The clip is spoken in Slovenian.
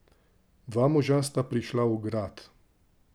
Dva moža sta prišla v grad.